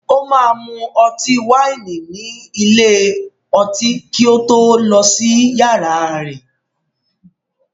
O máa mu ọtí wáìnì ní ilé-ọtí kí ó tó lọ sí yàrá rẹ̀.